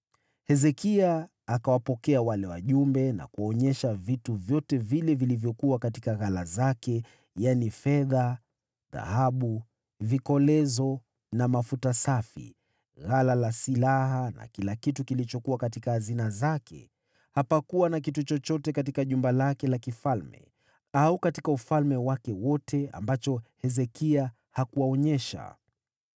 Hezekia akawapokea wale wajumbe na kuwaonyesha vitu vyote vile vilivyokuwa katika ghala zake: yaani fedha, dhahabu, vikolezo na mafuta safi, ghala la silaha na kila kitu kilichokuwa katika hazina zake. Hapakuwa na kitu chochote katika jumba lake la kifalme au katika ufalme wake wote ambacho Hezekia hakuwaonyesha.